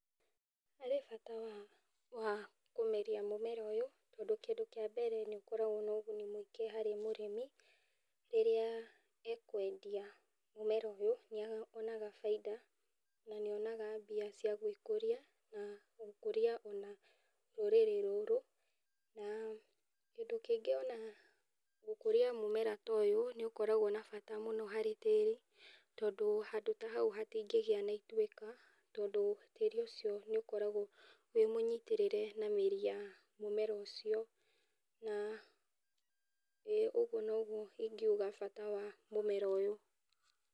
Harĩ bata wa wa kũmeria mũmera ũyũ tondũ kĩndũ kĩa mbere nĩ ũkoragwo na ũguni mũingĩ harĩ mũrĩmi, rĩrĩa akwendia mũmera ũyũ nĩ onaga baita, na nĩonaga mbia cia gwĩkũria, ona gũkũria ona rũrĩrĩ rũrũ, na kĩndũ kĩngĩ ona gũkũria mũmera nĩ ũkoragwo na bata mũno harĩ tĩri, tondũ handũ ta hau hatingĩgĩa na ituĩka, tondũ tĩri ũcio nĩ ũkoragwo wĩ mũnyitĩrĩre na mĩri ya na mũmera ũcio na ũguo nĩguo ingiuga bata wa mũmera ũyũ.